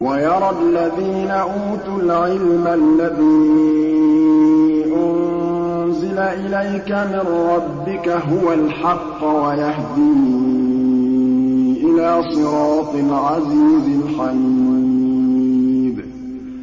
وَيَرَى الَّذِينَ أُوتُوا الْعِلْمَ الَّذِي أُنزِلَ إِلَيْكَ مِن رَّبِّكَ هُوَ الْحَقَّ وَيَهْدِي إِلَىٰ صِرَاطِ الْعَزِيزِ الْحَمِيدِ